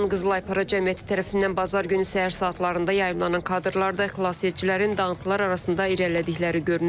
İran Qızıl Aypara Cəmiyyəti tərəfindən bazar günü səhər saatlarında yayımlanan kadrlarda xilasedicilərin dağıntılar arasında irəlilədikləri görünür.